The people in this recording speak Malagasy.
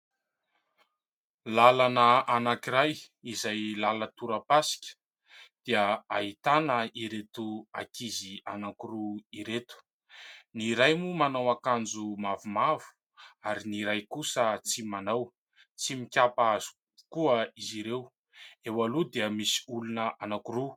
Lalana anankiray izay lalan-toram-pasika dia ahitana ireto ankizy anankiroa ireto. Ny iray moa manao akanjo mavomavo ary ny iray kosa tsy manao. Tsy mikapa avokoa izy ireo. Eo aloha dia misy olona anankiroa.